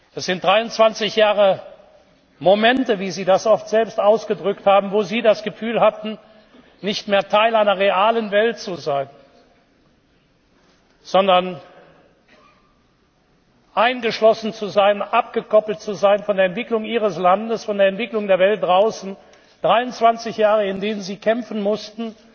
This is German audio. Das sind 23 Jahre Momente, wie Sie das oft selbst ausgedrückt haben, wo Sie das Gefühl hatten, nicht mehr Teil einer realen Welt zu sein, sondern eingeschlossen zu sein, abgekoppelt zu sein von der Entwicklung Ihres Landes, von der Entwicklung der Welt draußen, 23 Jahre, in denen Sie kämpfen mussten,